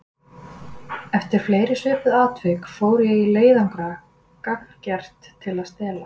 Eftir fleiri svipuð atvik fór ég í leiðangra gagngert til að stela.